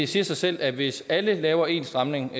siger sig selv at hvis alle laver en stramning